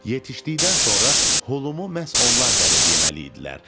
Yetişdikdən sonra holumu məhz onlar dərib yeməli idilər.